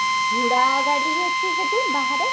ଘୁଡା ଗାଡି ଅଛି ସେଠି ବାହାରେ